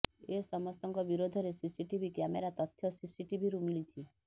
ଏ ସମସ୍ତଙ୍କ ବିରୋଧରେ CCTV camera ତଥ୍ୟ ସିସିଟିଭିରୁ ମିଳିଛି